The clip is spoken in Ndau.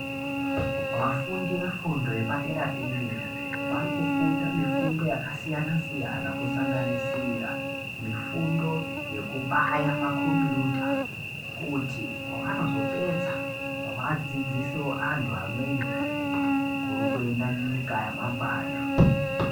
Vafundi vefundo yepa dera dera vari kufunda mifundo yaka siyana siyana ku sanganisira mifundo yeku baya makombiyuta kuti pavanozo pedza vadzidziso antu amweni kuri kuenda nyika ya mangwana.